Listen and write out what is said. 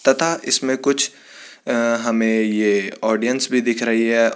तथा इसमें कुछ अअ हमें ये ऑडियन्स भी दिख रही है।